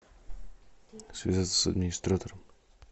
связаться с администратором